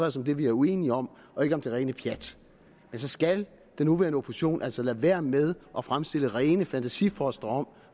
os om det vi er uenige om og ikke om det rene pjat men så skal den nuværende opposition altså lade være med at fremstille rene fantasifostre om